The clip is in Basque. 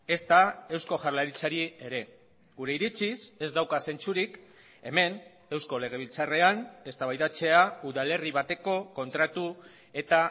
ezta eusko jaurlaritzari ere gure iritziz ez dauka zentzurik hemen eusko legebiltzarrean eztabaidatzea udalerri bateko kontratu eta